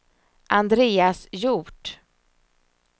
Andreas Hjort